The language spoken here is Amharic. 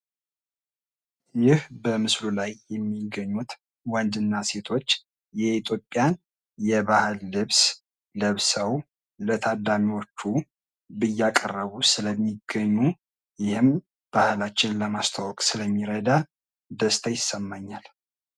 ይህ በምስሉ ላይ የሚገኙት ወንድና ሴቶ የኢትዮጵያን ባህላዊ ልብስ ለብሰው ለታዳሚወቹ እያቀረቡ ስለሚገኙ ይህም ባህላችን ለማስተዋወቅ ስለሚረዳ ደስታ ይሰማኛል ።